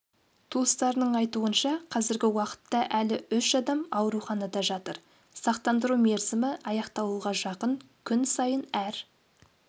туыстарының айтуынша қазіргі уақытта әлі үш адам ауруханада жатыр сақтандыру мерзімі аяқталуға жақын күн сайын әр